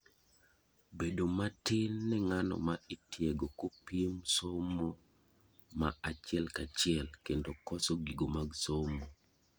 bedo matin ne ng'ano ma itiego kopim somo ma achiel kachiel kendo koso gigo mag somo